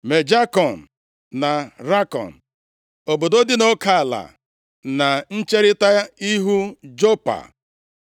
Me-Jakọn na Rakọn, obodo dị nʼoke ala, na ncherita ihu Jopa.